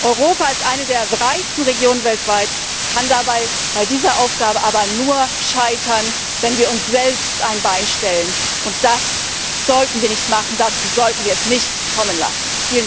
sein. Europa, als eine der reichsten Regionen weltweit, kann bei dieser Aufgabe aber nur scheitern, wenn wir uns selbst ein Bein stellen, und das sollten wir nicht machen, dazu sollten wir es nicht kommen lassen!